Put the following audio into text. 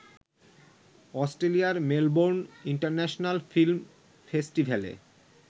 অস্ট্রেলিয়ার Melbourne international film ফেস্টিভ্যালে